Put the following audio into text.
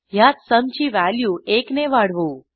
ह्यात सुम ची व्हॅल्यू एकने वाढवू